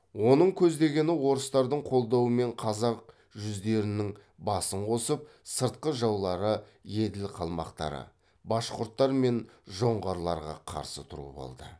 оның көздегені орыстардың қолдауымен қазақ жүздерінің басын қосып сыртқы жаулары еділ қалмақтары башқұрттар мен жоңғарларға қарсы тұру болды